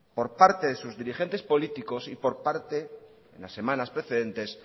por parte de sus dirigentes políticos y por parte en las semanas precedentes